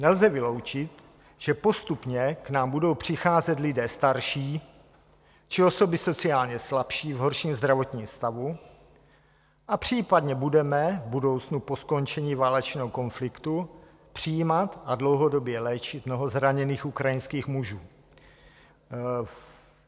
Nelze vyloučit, že postupně k nám budou přicházet lidé starší či osoby sociálně slabší v horším zdravotním stavu, a případně budeme v budoucnu po skončení válečného konfliktu přijímat a dlouhodobě léčit mnoho zraněných ukrajinských mužů.